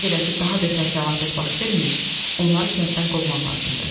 Nə qədər ki daha betər fəlakət baş verməyib, onları kənddən qovmaq lazımdır.